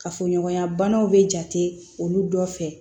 Kafoɲɔgɔnya banaw bɛ jate olu dɔ fɛ